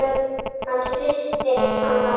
Hann hristir hana til.